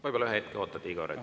Võib-olla ühe hetke ootate, Igor.